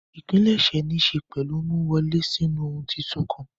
Ìpilẹ̀ṣẹ̀ níṣe pẹ̀lú ìmúwọlè sínú ohun tuntun kan.